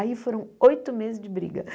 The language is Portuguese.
Aí foram oito meses de briga.